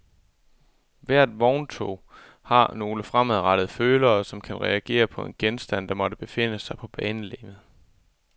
Hvert vogntog har nogle fremadrettede følere, som reagerer på enhver genstand, der måtte befinde sig på banelegemet.